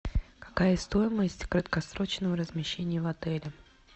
какая стоимость краткосрочного размещения в отеле